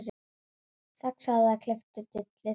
Saxaðu eða klipptu dillið.